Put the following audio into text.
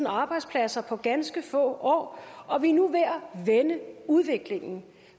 arbejdspladser på ganske få år og vi er nu ved at vende udviklingen